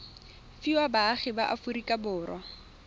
fiwa baagi ba aforika borwa